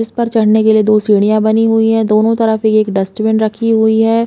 जिस पर चढ़ने के लिए दो सीढ़िया बनी हुई है दोनों तरफ एक - एक डस्टबिन रखी हुई है।